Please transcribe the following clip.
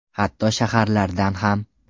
Hatto shaharlardan ham.